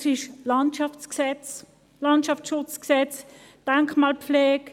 Es ist das Landschaftsschutzgesetz und die Denkmalpflege.